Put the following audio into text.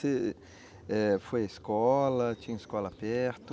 Você eh foi à escola, tinha escola perto?